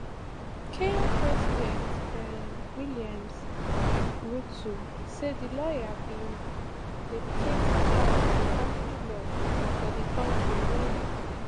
kenya president um william ruto say di lawyer bin dedicate her life to family law for di kontri wen